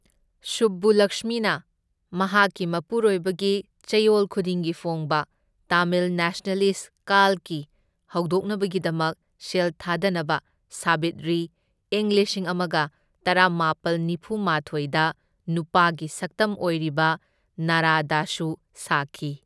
ꯁꯨꯕꯕꯨꯂꯛꯁꯃꯤꯅ ꯃꯍꯥꯛꯀꯤ ꯃꯄꯨꯔꯣꯏꯕꯒꯤ ꯆꯌꯣꯜ ꯈꯨꯗꯤꯡꯒꯤ ꯐꯣꯡꯕ ꯇꯥꯃꯤꯜ ꯅꯦꯁꯅꯦꯂꯤꯁꯠ ꯀꯥꯜꯀꯤ ꯍꯧꯗꯣꯛꯅꯕꯒꯤꯗꯃꯛ ꯁꯦꯜ ꯊꯥꯗꯅꯕ ꯁꯥꯕꯤꯠꯔꯤ, ꯢꯪ ꯂꯤꯁꯤꯡ ꯑꯃꯒ ꯇꯔꯥꯃꯥꯄꯜ ꯅꯤꯐꯨꯃꯥꯊꯣꯢꯗ ꯅꯨꯄꯥꯒꯤ ꯁꯛꯇꯝ ꯑꯣꯢꯔꯤꯕ ꯅꯥꯔꯥꯗꯁꯨ ꯁꯥꯈꯤ꯫